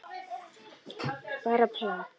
Bara plat.